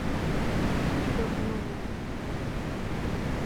инне горбуновой